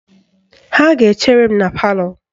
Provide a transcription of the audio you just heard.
Ha ga-echere m na palọ